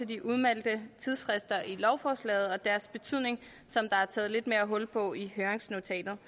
de udmeldte tidsfrister i lovforslaget og deres betydning som der er taget lidt mere hul på i høringsnotatet